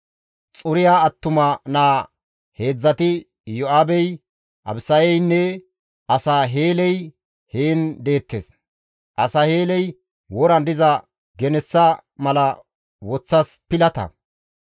Xuriya attuma naa heedzdzati Iyo7aabey, Abisayeynne Asaheeley heen deettes. Asaheeley woran diza genessa mala woththas pilata.